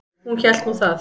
Hún hélt nú það.